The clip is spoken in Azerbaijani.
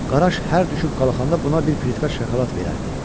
Qaraş hər düşüb qalxanda buna bir plitka şokolad verərdi.